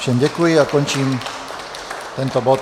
Všem děkuji a končím tento bod.